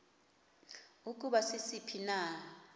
ukuba sisiphi na